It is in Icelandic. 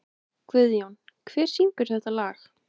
Guðjón, hver syngur þetta lag?